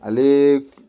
Ale